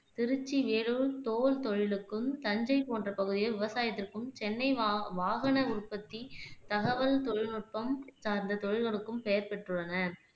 திருச்சி, வேலூர் தோல் தொழிலுக்கும், தஞ்சை போன்ற பகுதிகள் விவசாயத்திற்கும், சென்னை வா வாகன உற்பத்தி, தகவல் தொழில் நுட்பம் சார்ந்த தொழில்களுக்கும் பெயர் பெற்றுள்ளன.